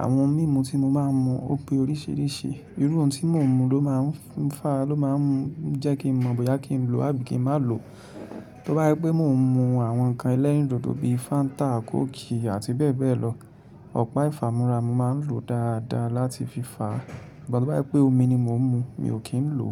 Àwọn ohun mímu tí mo máa ń mu ò pé oríṣìíríṣìí. Irú ohun tí mo ń mu ló máa ń fa, ló má jẹ́ kín mọ̀ bóyá kí n lo àbí kí n má ló. Tó bá jẹ pé mò ń mu àwọn ǹkan ẹlẹ́rìndòdò bíi Fáńtà, Kóòkì àti bẹ́ẹ̀ bẹ́ẹ̀ lọ, ọ̀pá ìfámúra mo máa ń lo dáadáa láti fi fà á. Ṣùgbọ́n tó bá jẹ pé omi ni mò ń mu, mi ò kí ń lo.